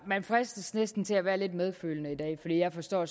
man fristes næsten til at være lidt medfølende i dag for jeg forstår